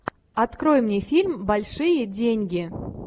открой мне фильм большие деньги